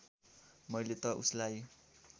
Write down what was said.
मैले त उसलाई